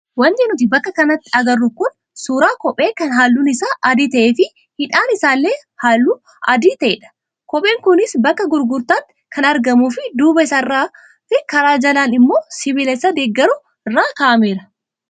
Wanti nuti bakka kanatti agarru kun suuraa kophee kan halluun isaa adii ta'ee fi hidhaan isaallee halluu adii ta'edha. Kopheen kunis bakka gurgurtaatti kan argamuu fi duuba isaarraa fi karaa jalaa immoo sibiila isa deeggaru irra kaa'ameera.